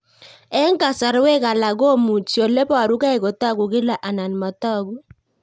Eng' kasarwek alak komuchi ole parukei kotag'u kila anan matag'u